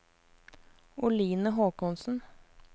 Oline Håkonsen